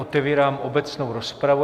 Otevírám obecnou rozpravu.